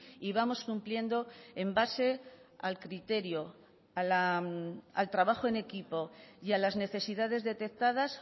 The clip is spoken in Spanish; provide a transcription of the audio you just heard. y vamos cumpliendo en base al criterio al trabajo en equipo y a las necesidades detectadas